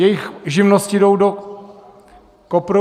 Jejich živnosti jdou do kopru.